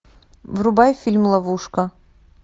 врубай фильм ловушка